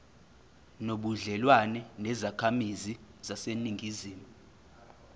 nobudlelwane nezakhamizi zaseningizimu